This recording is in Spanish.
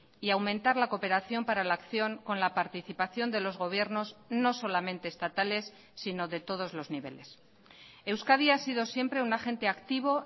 y aumentar la cooperación para la acción con la participación de los gobiernos no solamente estatales sino de todos los niveles euskadi ha sido siempre un agente activo